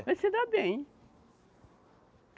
A gente se dá bem.